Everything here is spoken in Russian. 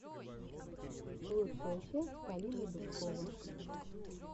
лучшая часть полина дубкова